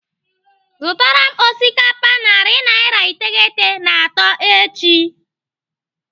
Zụtara m osikapa narị naira iteghete na atọ echi.